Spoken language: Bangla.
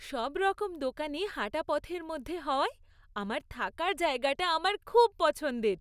সবরকম দোকানই হাঁটাপথের মধ্যে হওয়ায় আমার থাকার জায়গাটা আমার খুব পছন্দের।